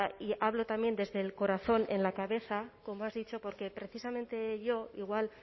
y hablo también desde el corazón en la cabeza como has dicho porque precisamente yo igual